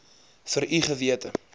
vir u gewete